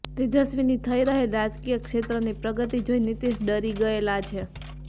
તેજસ્વીની થઇ રહેલ રાજકિય ક્ષેત્રની પ્રગતી જોઇ નીતીશ ડરી ગયેલા છે